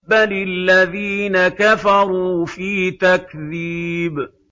بَلِ الَّذِينَ كَفَرُوا فِي تَكْذِيبٍ